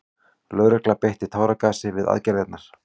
Lögregla beitti táragasi við aðgerðirnar